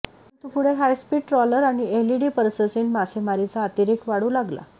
परंतु पुढे high speed trawler आणि एलईडी पर्ससीन मासेमारीचा अतिरेक वाढू लागला